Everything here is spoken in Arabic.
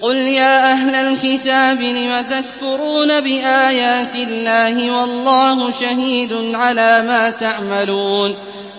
قُلْ يَا أَهْلَ الْكِتَابِ لِمَ تَكْفُرُونَ بِآيَاتِ اللَّهِ وَاللَّهُ شَهِيدٌ عَلَىٰ مَا تَعْمَلُونَ